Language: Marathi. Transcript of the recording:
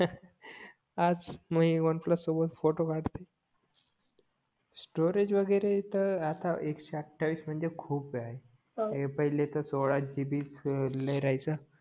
आज मी वन प्लस सोबत फोटो काढते स्टोरेज वगैरे तर आता एकशे अठावीस म्हणजे खूप आहे पहिले तर सोळा जीबी च लाई राहायचा